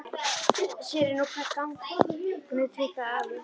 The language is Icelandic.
Sér er nú hvert gagnið tautaði afi.